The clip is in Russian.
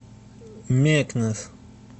мекнес